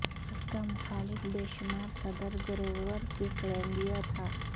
اس کا مخالف بے شمار صدر گروور کلیولینڈ تھا